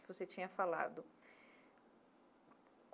que você tinha falado.